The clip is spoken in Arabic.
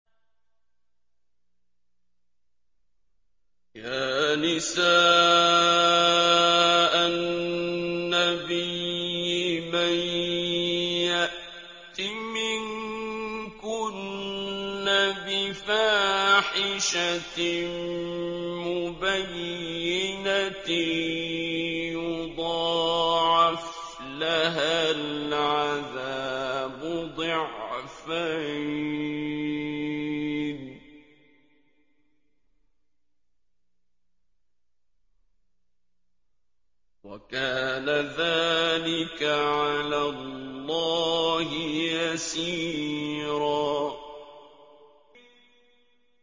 يَا نِسَاءَ النَّبِيِّ مَن يَأْتِ مِنكُنَّ بِفَاحِشَةٍ مُّبَيِّنَةٍ يُضَاعَفْ لَهَا الْعَذَابُ ضِعْفَيْنِ ۚ وَكَانَ ذَٰلِكَ عَلَى اللَّهِ يَسِيرًا